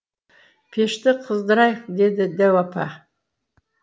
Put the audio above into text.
пешті қыздырайық деді дәу апа